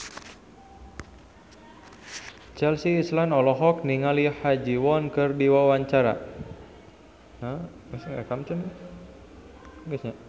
Chelsea Islan olohok ningali Ha Ji Won keur diwawancara